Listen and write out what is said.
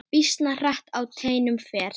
Býsna hratt á teinum fer.